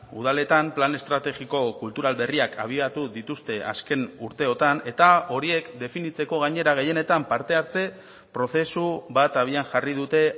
udaletan plan estrategiko kultural berriak abiatu dituzte azken urteotan eta horiek definitzeko gainera gehienetan parte hartze prozesu bat abian jarri dute